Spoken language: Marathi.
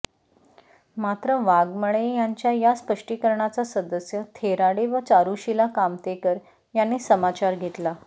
मात्र वाघमळे यांच्या या स्पष्टीकरणाचा सदस्य थेराडे व चारुशिला कामतेकर यांनी समाचार घेतला